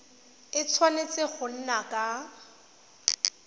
a tshwanetse go nna ka